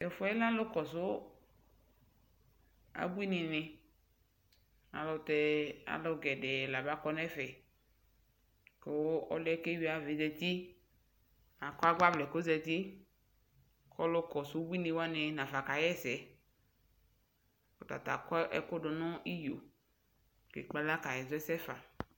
Tʋ ɛfʋɛ lɛ alʋkɔsʋ abuini ni ayɛlʋtɛ alʋ gɛdɛɛ la ba kɔ nʋ ɛfɛ kʋ ɔlʋ ɛ kʋ eyui ayava yɛ zati Akɔ agbavlɛ kʋ ɔzati, kʋ ɔlʋ kɔsʋ abuini wani nafa kaɣɛsɛ Ɔtata akɔ ɛkʋ dʋ niyo kʋ ekpe alɔ kaɣɛsɛ fa